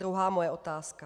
Druhá moje otázka.